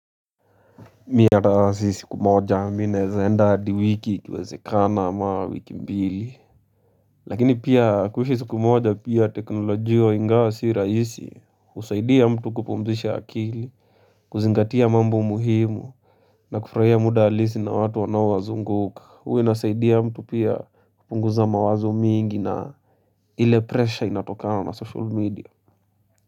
Mi hata si siku moja mi naeza enda hadi wiki ikiwezekana ama wiki mbili. Lakini pia kuishi siku moja pia teknolojia ingawa sii rahisi, husaidia mtu kupumzisha akili, kuzingatia mambo muhimu, na kufurahia muda halisi na watu wanao wazunguka. Huwa inasaidia mtu pia kupunguza mawazo mingi na ile presha inatokana na social media.